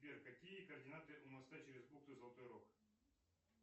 сбер какие координаты у моста через бухту золотой рог